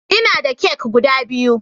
Ina da kek guda biyu